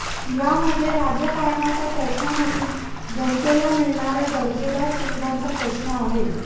यामध्ये राजकारणाचा प्रश्न नसून जनतेला मिळणाऱ्या दर्जेदार सुविधांचा प्रश्न आहे